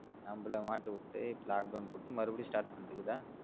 நம்மள மாட்டி விட்டு இப்ப lock down போட்டு மறுபடியும் start பண்ணிட்டு இருக்குதா